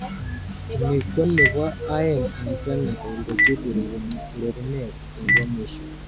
Ni konipo aeng eng Senegal kochut ureremet nebo mwisho.